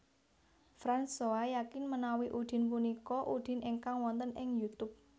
Fransoa yakin menawi Udin punika Udin ingkang wonten ing Youtube